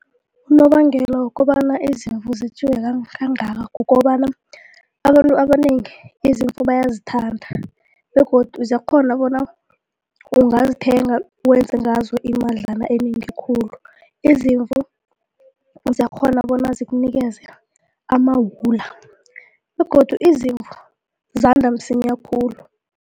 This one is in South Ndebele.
Unobangela wokobana izimvu zetjiwe kangakangaka kukobana abantu abanengi izimvu bayazithanda begodu ziyakghona bona ungazithenga wenze ngazo imadlana enengi khulu izimvu ziyakghona bona zikunikeze amawula begodu izimvu zanda msinya khulu.